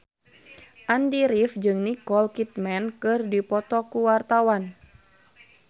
Andy rif jeung Nicole Kidman keur dipoto ku wartawan